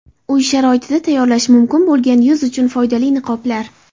Uy sharoitida tayyorlash mumkin bo‘lgan yuz uchun foydali niqoblar.